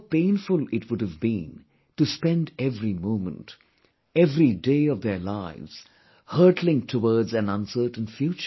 How painful it would have been to spend every moment, every day of their lives hurtling towards an uncertain future